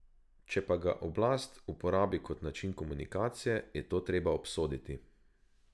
Če pa ga oblast uporabi kot način komunikacije, je to treba obsoditi.